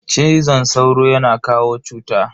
Cizon sauro yana kawo cuta.